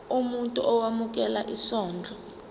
umuntu owemukela isondlo